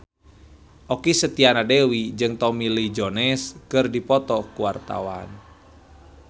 Okky Setiana Dewi jeung Tommy Lee Jones keur dipoto ku wartawan